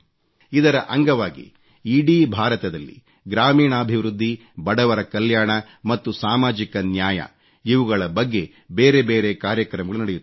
ಇದರ ಅಂಗವಾಗಿ ಇಡೀ ಭಾರತದಲ್ಲಿ ಗ್ರಾಮೀಣಾಭಿವೃದ್ಧಿ ಬಡವರ ಕಲ್ಯಾಣ ಮತ್ತು ಸಾಮಾಜಿಕ ನ್ಯಾಯ ಇವುಗಳ ಬಗ್ಗೆ ಬೇರೆ ಬೇರೆ ಕಾರ್ಯಕ್ರಮಗಳು ನಡೆಯುತ್ತವೆ